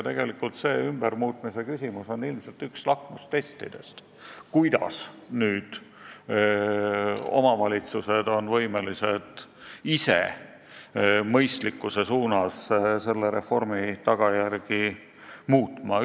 Tegelikult see ümbermuutmise küsimus on üks lakmustestidest, kuidas on omavalitsused nüüd võimelised ise selle reformi tagajärgi mõistlikkuse poole muutma.